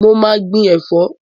Mo ma gbin ẹ̀fọ́